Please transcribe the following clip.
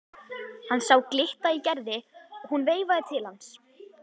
Hann sá glitta í Gerði og hún veifaði til hans.